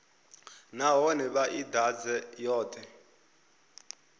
nahone vha i ḓadze yoṱhe